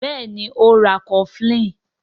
Béèni o ń rá cofflin.